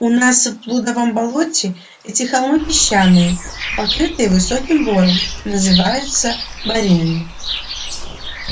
у нас в блудовом болоте эти холмы песчаные покрытые высоким бором называются боринами